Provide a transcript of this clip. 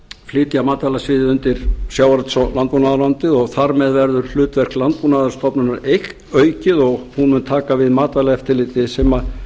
flytja matvælasviðið undir sjávarútvegs og landbúnaðarráðuneytið og þar með verður hlutverk landbúnaðarstofnunar aukið og hún mun taka við matvælaeftirliti sem